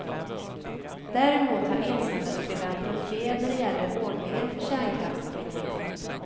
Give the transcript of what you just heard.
Däremot har insändarskribenten fel när det gäller ordningen för kärnkraftsavvecklingen.